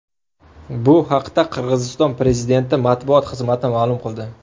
Bu haqda Qirg‘iziston prezidenti matbuot xizmati ma’lum qildi .